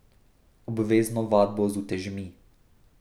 Obvezno vadbo z utežmi.